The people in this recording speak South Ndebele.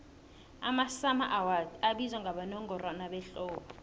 amasummer awards abizwa abowongorwana behlobo